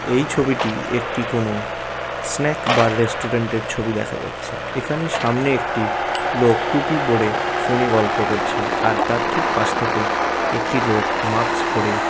এই ছবিটি একটি কোন স্ন্যাক বা রেস্টুরেন্ট -এর ছবি দেখা যাচ্ছে। এখানে সামনে একটি লোক টুপি পরে ফোন -এ গল্প করছে। আর তার ঠিক পাশ থেকে একটি লোক মাক্স পরে।